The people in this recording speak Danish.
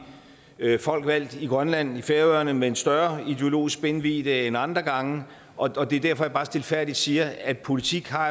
folk valgt i grønland og færøerne med en større ideologisk spændvidde end andre gange og det er derfor jeg bare stilfærdigt siger at politik har